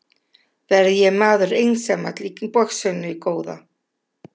Verð ég maður einsamall í boxinu góða?